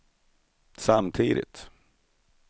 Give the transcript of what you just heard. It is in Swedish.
samtidigt